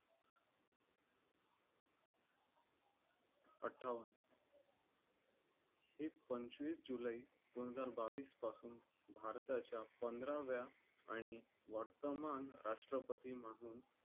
अट्ठावन्न ही पंचवीस जुलै दोन हजार बावीस पासून भारताच्या पंधराव्या आणि वर्तमान राष्ट्रपती म्हणून